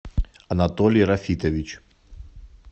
анатолий рафитович